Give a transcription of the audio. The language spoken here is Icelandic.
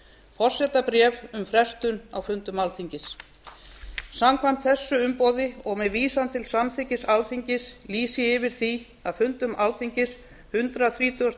forsetabréf um frestun á fundum alþingis samkvæmt þessu umboði og með vísan til samþykkis alþingis lýsi ég yfir því að fundum alþingis hundrað þrítugasta og